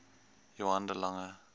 johann de lange